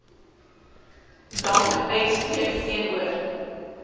dank uitspreek teenoor